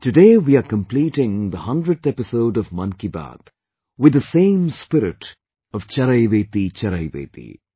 Today we are completing the 100th episode of 'Mann Ki Baat' with the same spirit of Charaiveti Charaiveti